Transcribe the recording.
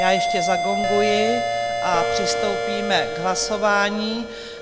Já ještě zagonguji a přistoupíme k hlasování.